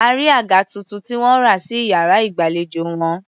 A rí àga tuntun tí wọ́n rà sí iyàrá ìgbàlejò wọn.